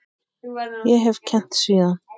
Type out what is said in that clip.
Ég hef kennt síðan.